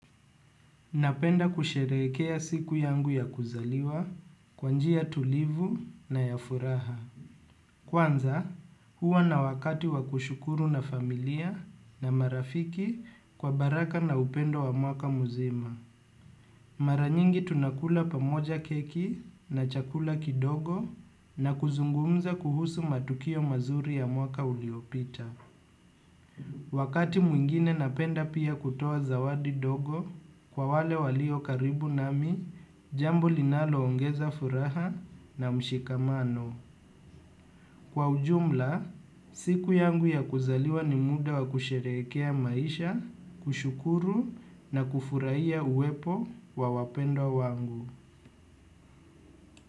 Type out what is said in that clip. Napenda kusherekea siku yangu ya kuzaliwa, kwa njia tulivu na ya furaha. Kwanza, huwa na wakati wakushukuru na familia na marafiki kwa baraka na upendo wa mwaka muzima. Mara nyingi tunakula pamoja keki na chakula kidogo na kuzungumza kuhusu matukio mazuri ya mwaka uliopita. Wakati mwingine napenda pia kutoa zawadi dogo kwa wale walio karibu nami jambo linalo ongeza furaha na mshikamano. Kwa ujumla, siku yangu ya kuzaliwa ni muda wa kusherekea maisha, kushukuru na kufuraia uwepo wa wapendo wangu.